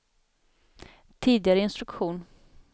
tidigare instruktion